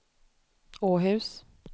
Åhus